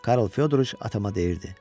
Karl Fyodriç atama deyirdi: